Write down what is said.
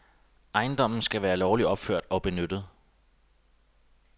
Ejendommen skal være lovligt opført og benyttet.